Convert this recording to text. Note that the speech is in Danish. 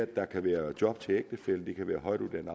der kan være job til ægtefællen det kan være højtuddannet